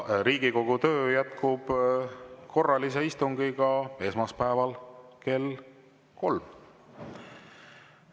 Riigikogu töö jätkub korralise istungiga esmaspäeval kell kolm.